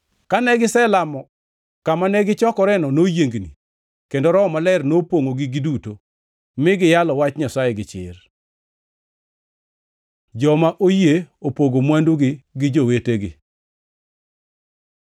Kane giselamo, kama ne gichokoreno noyiengni, kendo Roho Maler nopongʼogi giduto, mi giyalo Wach Nyasaye gi chir. Joma oyie opogo mwandugi gi jowetegi